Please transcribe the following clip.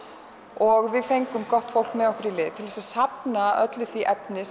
og við fengum gott fólk með okkur í lið til að safna öllu því efni